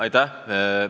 Aitäh!